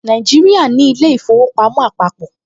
Nàìjíríà ní ilé-ìfowópamọ́ àpàpọ̀